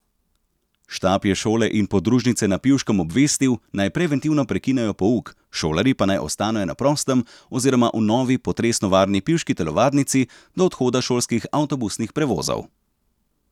Štab je šole in podružnice na Pivškem obvestil, naj preventivno prekinejo pouk, šolarji pa naj ostanejo na prostem oziroma v novi potresno varni pivški telovadnici do odhoda šolskih avtobusnih prevozov.